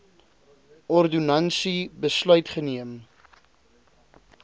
ordonnansie besluit geneem